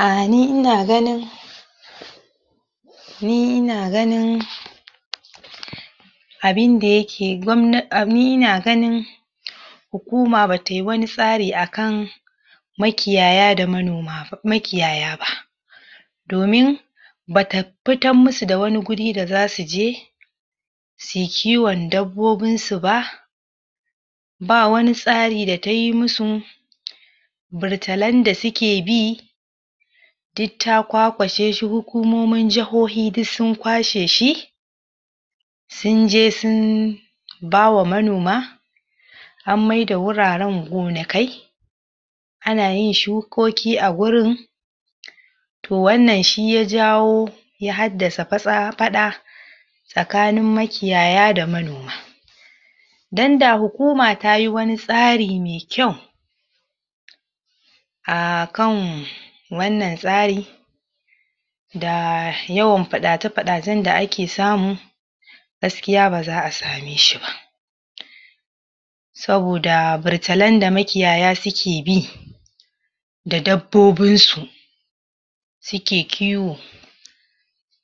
um ni ina ganin ni ina ganin? abinda yake gwabna um ni ina ganin? hukuma batai wani tsari akan makiyaya da manona ba makiyaya ba domin bata pitan musu da wani guri da zasu je suyi kiwon dabbobin su ba ba wani tsari da tayi musu? burtalan da suke bi duk ta kwakwashe shi hukumomin jahohi duk sun kwashe shi sun je sun ba wa manoma an mai da wuraren gonakai ana yin shukoki a gurin to wannan shi ya jawo ya haddasa patsa paɗa tsakanin makiyaya da manoma don da hukuma tayi wani tsari mai kyau a kan wannan tsari da yawan paɗace paɗacen da ake samu gaskiya baza'a sameshi ba? saboda burtalan da makiyaya suke bi da dabbobin su suke kiwo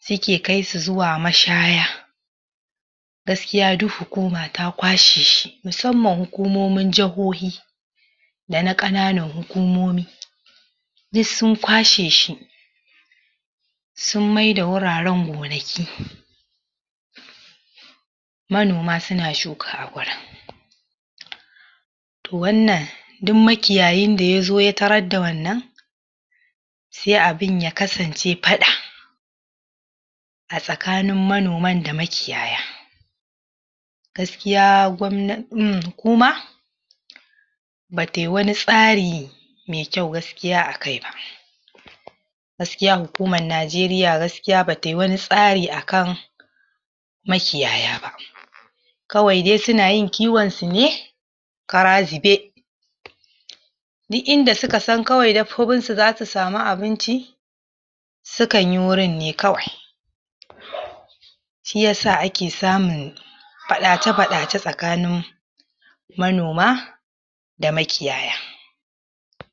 suke kai su zuwa mashaya gaskiya duk hukuma ta kwashe shi musamman hukumomin jahohi da na ƙananan hukumomi duk sun kwashe shi sun mai da wuraren gonaki manoma suna shuka a wurin to wannan duk makiyayin da yazo ya tarar da wannan sai abin ya kasance paɗa a tsakanin monaman da makiyaya gaskia gwabna um hukuma batai wani tsari mai kyau gaskiya a kai ba gaskiya hukuman Najeriya gaskiya batai wani tsari akan makiyaya ba kawai dai suna yin kiwon su ne kara zube duk inda suka san kawai dabbobin su zasu samu abinci su kan yi wurin ne kawai? shiyasa ake samun paɗace paɗace tsakanin manoma da makiyaya